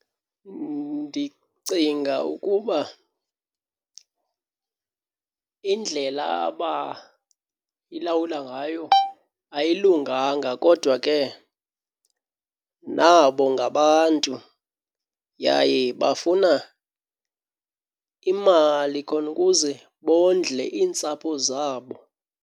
Ndicinga ukuba indlela abayilawula ngayo ayilunganga kodwa ke nabo ngabantu, yaye bafuna imali khona ukuze bondle iintsapho zabo.